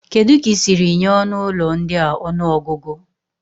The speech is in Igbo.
Kedu ka ị siri nye ọnụ ụlọ ndị a ọnụọgụgụ?